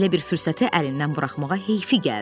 Belə bir fürsəti əlindən buraxmağa heyfi gəldi.